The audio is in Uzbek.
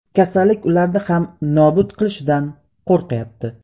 Kasallik ularni ham nobud qilishidan qo‘rqyapti.